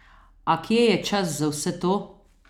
A kje je čas za vse to?